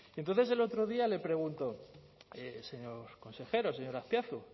entonces el otro día le pregunto señor consejero señor azpiazu